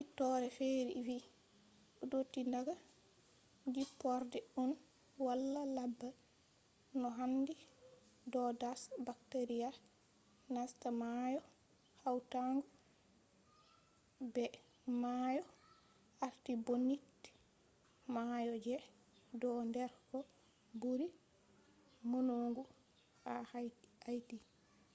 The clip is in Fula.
no hiitoore fere vi dotti daga jipporde un wala laba no handi do dasa bacteria nasta maayo hawtango be mayo artibonite, mayo je do nder ko buri maunogu ha haiti